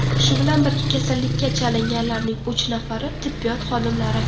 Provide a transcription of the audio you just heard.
Shu bilan birga, kasallikka chalinganlarning uch nafari tibbiyot xodimlari.